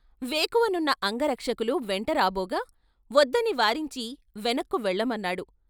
వేకువనున్న అంగరక్షకులు వెంటరాబోగా వద్దని వారించి వెనక్కు వెళ్ళమన్నాడు.